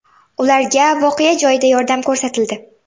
Ularga voqea joyida yordam ko‘rsatildi.